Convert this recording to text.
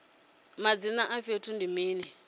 madzina a fhethu ndi mini